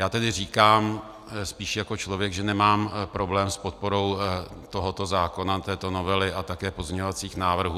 Já tedy říkám spíš jako člověk, že nemám problém s podporou tohoto zákona, této novely a také pozměňovacích návrhů.